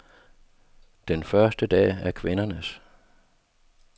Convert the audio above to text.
Den første dag er kvindernes.